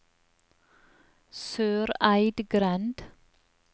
Søreidgrend